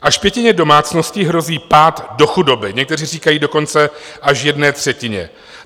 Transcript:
Až pětině domácností hrozí pád do chudoby, někteří říkají dokonce až jedné třetině.